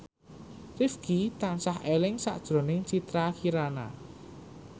Rifqi tansah eling sakjroning Citra Kirana